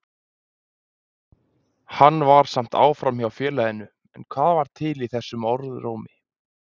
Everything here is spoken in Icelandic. Hann var samt áfram hjá félaginu, en hvað var til í þessum orðrómi?